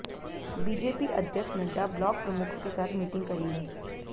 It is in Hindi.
बीजेपी अध्यक्ष नड्डा ब्लॉक प्रमुखों के साथ मीटिंग करेंगे